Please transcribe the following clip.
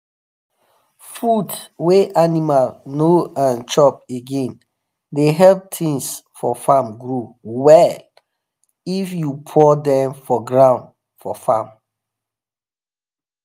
food wa animal no um chop again the help things for farm grow well if you pour um them for ground for farm